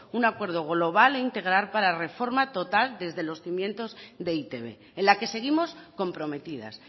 un acuerdo global e integral para reforma total desde los cimientos de e i te be en la que seguimos comprometidas